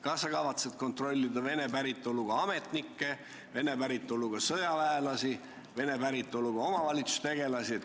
Kas sa kavatsed kontrollida vene päritolu ametnikke, vene päritolu sõjaväelasi, vene päritolu omavalitsustegelasi?